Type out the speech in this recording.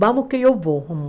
Vamos que eu vou.